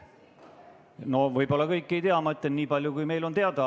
No võib-olla kõiki ei tea, ma ütlen nii palju, kui meile on teada.